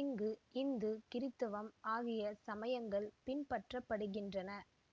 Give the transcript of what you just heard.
இங்கு இந்து கிறித்தவம் ஆகிய சமயங்கள் பின்பற்றப்படுகின்றன